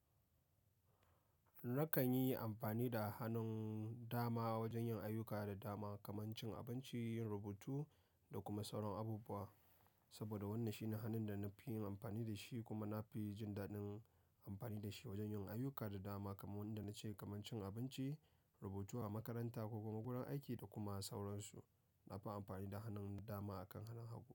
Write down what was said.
Nakan yi amfani da hannun dama wajen yin ayuka da dama kamar cin abinci, rubutu da kuma sauran abubuwa. Saboda wannan shine hannun da na fi yin amfani da shi kuma na fi jin daɗin amfani da shi wajen yin ayuka da dama kamar wanda na ce kamar cin abinci, rubutu a makaranta ko kuma gudanar aiki da kuma sauransu. Na fi amfani da hannun dama akan hannun hagu.